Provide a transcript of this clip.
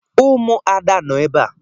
Ụmụada nọ ebe a.